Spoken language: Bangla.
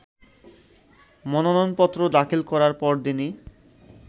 মনোনয়নপত্র দাখিল করার পরদিনই